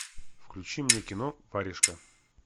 включи мне кино варежка